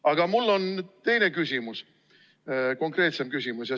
Aga mul on teine, konkreetsem küsimus.